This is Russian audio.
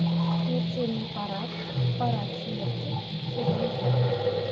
смертельный парад парад смерти сезон два